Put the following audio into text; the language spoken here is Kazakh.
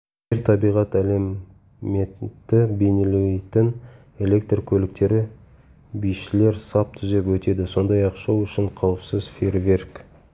жер табиғат элементті бейнелейтін электр көліктері бишілер сап түзеп өтеді сондай-ақ шоу үшін қауіпсіз фейерверк